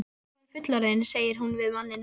Nú er ég orðin fullorðin, segir hún við manninn.